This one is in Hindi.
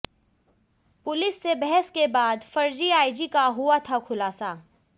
पुलिस से बहस के बाद फर्जी आईजी का हुआ था खुलासा